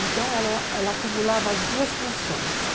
Então, ela acumulava as duas funções.